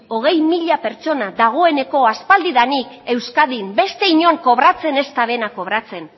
hogei mila pertsona dagoeneko aspaldidanik euskadin beste inon kobratzen ez dutena kobratzen